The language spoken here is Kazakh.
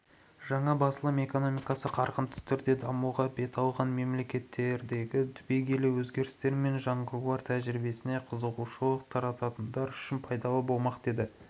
жаңа басылым экономикасы қарқынды түрде дамуға бет алған мемлекеттердегі түбегейлі өзгерістер мен жаңғырулар тәжірибесіне қызығушылық танытатындар үшін пайдалы болмақ деді